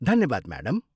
धन्यवाद, म्याडम।